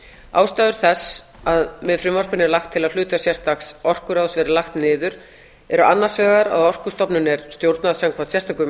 ástæður þess að með frumvarpinu er lagt til að hlutverk sérstaks orkuráðs verði lagt niður eru annars vegar að orkustofnun er stjórnað samkvæmt sérstökum